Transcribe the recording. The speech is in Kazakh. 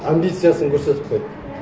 амбициясын көрсетіп қойды